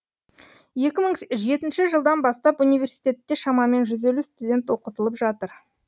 екі мың жетінші жылдан бастап университетте шамамен жүз елу студент оқытылып жатыр